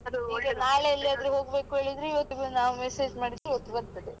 ನಾಳೆ ಎಲ್ಲಿಯಾದ್ರೂ ಹೋಗ್ಬೇಕು ಹೇಳಿದ್ರೆ ಇವತ್ತು ನಾವು message ಮಾಡಿದ್ರೆ ಇವತ್ತೇ ಬರ್ತದೆ.